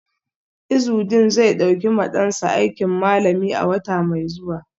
Izudeen zai dauki ma dansa aikin malami a wata mai zuwa.